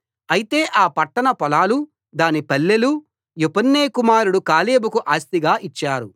అయితే ఆ పట్టణ పొలాలూ దాని పల్లెలు యెఫున్నె కుమారుడు కాలేబుకు ఆస్తిగా ఇచ్చారు